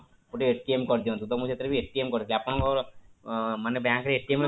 ଗୋଟେ କରିଦିଅନ୍ତୁ ତ ମୁଁ ସେଥିରେ ବି କରିଛି ଆପଣଙ୍କର ମାନେ bank ରେ